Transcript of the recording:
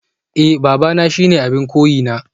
Eh babana shine abin koyina